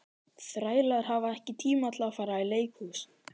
Þrælar hafa ekki tíma til að fara í leikhús.